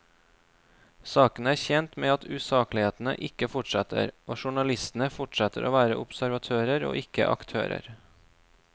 Saken er tjent med at usaklighetene ikke fortsetter, og journalistene fortsetter å være observatører og ikke aktører.